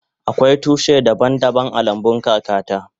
Akwai tushi daban daban a lambun kaka ta.